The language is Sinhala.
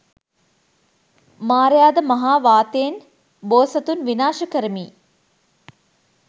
මාරයාද මහා වාතයෙන් බෝසතුන් විනාශ කරමියි